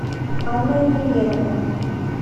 анна венеровна